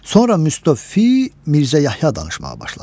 Sonra müstövfi Mirzə Yəhya danışmağa başladı.